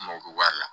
N mago bɛ wari la